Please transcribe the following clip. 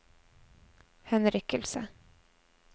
henrykkelse